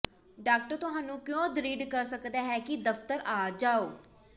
doctor ਤੁਹਾਨੂੰ ਕਿਉਂ ਦ੍ਰਿੜ੍ਹ ਕਰ ਸਕਦਾ ਹੈ ਕਿ ਦਫਤਰ ਆ ਜਾਓ